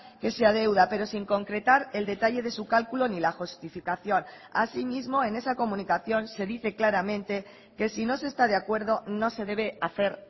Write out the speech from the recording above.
que se adeuda pero sin concretar el detalle de su cálculo ni la justificación así mismo en esa comunicación se dice claramente que si no se está de acuerdo no se debe hacer